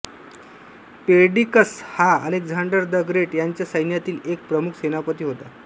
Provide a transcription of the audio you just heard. Perdiccas हा Alexander the great याच्या सैन्यातील एक प्रमुख सेनापती होता